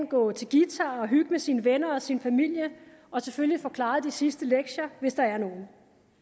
gå til guitar og hygge med sine venner og sin familie og selvfølgelig få klaret de sidste lektier hvis der er nogen